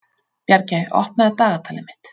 Bjargey, opnaðu dagatalið mitt.